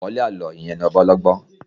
Àkọ́lé àlọ́ yẹn ni ọba ọlọ́gbọ́n